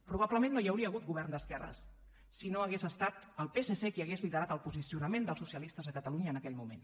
probablement no hi hauria hagut govern d’esquerres si no hagués estat el psc qui hagués liderat el posicionament dels socialistes a catalunya en aquell moment